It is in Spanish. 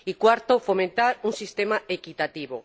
y cuarto, fomentar un sistema equitativo.